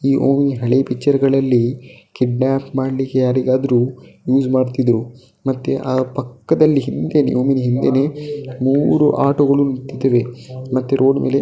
ಈ ಓಮ್ನಿ ಹಳೆ ಚಿತ್ರಗಳಲ್ಲಿ ಕಿಡ್ನಾಪ್ ಮಾಡ್ಲಿಕ್ಕೆ ಯಾರಿಗಾದರೂ ಯೂಸ್ ಮಾಡ್ತಿದ್ರು ಮತ್ತೆ ಆ ಪಕ್ಕದಲ್ಲಿ ಹಿಂದೇನೆ ಓಮ್ನಿ ಹಿಂದೇನೆ ಮೂರು ಆಟೋಗಳು ನಿಂತಿವೆ ಮತ್ತೆ ರೋಡ್ ಮೇಲೆ --